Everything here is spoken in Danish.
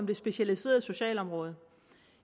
det specialiserede socialområde